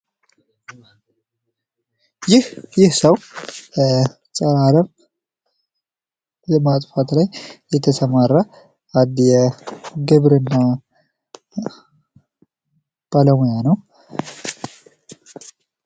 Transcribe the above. ይህ ሰው ጸረ አረም በማጥፋት ላይ የተሰማራ አንድ የግብርና ባለሙያ ነው።